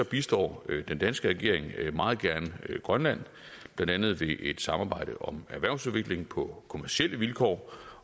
bistår den danske regering meget gerne grønland blandt andet ved et samarbejde om erhvervsudvikling på kommercielle vilkår